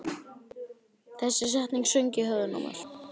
Þessi setning söng í höfðinu á mér.